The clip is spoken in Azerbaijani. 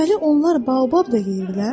Deməli onlar Baobab da yeyirlər?